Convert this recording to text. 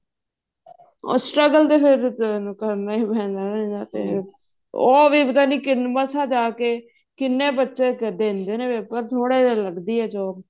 ਉਸ ਚ ਕਿਹ ਦਿੰਦੇ ਫ਼ੇਰ ਕਰਨਾ ਹੀ ਪੈਣਾ ਇਹਦਾ ਵੀ ਉਹ ਵੀ ਪਤਾ ਨੀ ਮਸਾਂ ਜਾ ਕੇ ਕਿੰਨੇ ਬੱਚੇ ਦਿੰਦੇ ਨੇ paper ਪਰ ਥੋੜੇ ਜੇ ਲੱਗਦੀ ਹੈ job